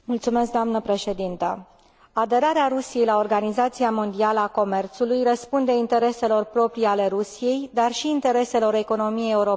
Aderarea Rusiei la Organizația Mondială a Comerțului răspunde intereselor proprii ale Rusiei, dar și intereselor economiei europene și mondiale în ansamblu.